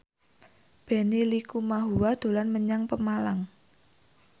Benny Likumahua dolan menyang Pemalang